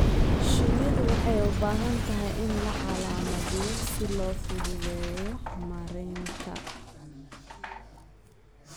Shinnida waxay u baahan tahay in la calaamadiyo si loo fududeeyo maaraynta.